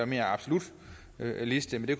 mere absolut liste men det